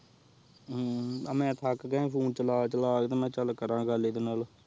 ਹ੍ਮ੍ਮ੍ਮ ਹੁਣ ਮੈ ਥਕ ਗਯਾ ਫੋਨੇ ਚਲਾ ਚਲਾ ਕੇ ਤੇਹ ਮੈ ਕ੍ਯਾ ਚਲ ਕਰ ਗੱਲ ਇਦੇ ਨਾਲ